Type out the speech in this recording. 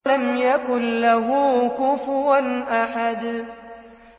وَلَمْ يَكُن لَّهُ كُفُوًا أَحَدٌ